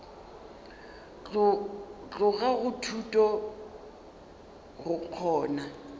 tloga go thuto go kgona